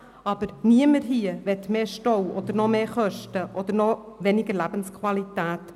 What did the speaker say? Aber niemand hier will mehr Stau, noch mehr Kosten oder noch weniger Lebensqualität.